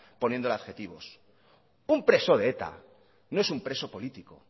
poniendo adjetivos un preso de eta no es un preso político